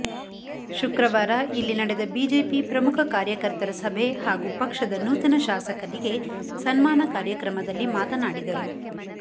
ಶುಕ್ರವಾರ ಇಲ್ಲಿ ನಡೆದ ಬಿಜೆಪಿ ಪ್ರಮುಖ ಕಾರ್ಯಕರ್ತರ ಸಭೆ ಹಾಗೂ ಪಕ್ಷದ ನೂತನ ಶಾಸಕರಿಗೆ ಸನ್ಮಾನ ಕಾರ್ಯಕ್ರಮದಲ್ಲಿ ಮಾತನಾಡಿದರು